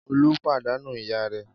Olú pàdánù ìyá rẹ̀?